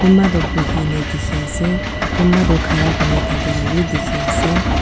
kumba tu buhi ne dikhi ase kumba toh khara kuri ne thake la b dikhi ase.